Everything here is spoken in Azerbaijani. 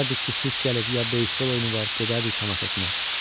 Görərdik ki, sikke gəlib, ya beysbol oyunu var, gedərdik tamaşasına.